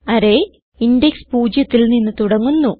array index 0ത്തിൽ നിന്ന് തുടങ്ങുന്നു